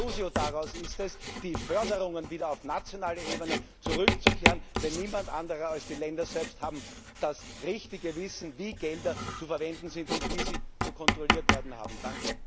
Die Schlussfolgerung daraus ist es, die Förderungen wieder auf nationale Ebene zurückzugeben, denn niemand anders als die Länder selbst hat das richtige Wissen, wie Gelder zu verwenden sind und wie sie zu kontrollieren sind.